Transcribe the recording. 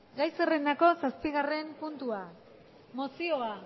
gai zerrendako zazpigarren puntua mozioa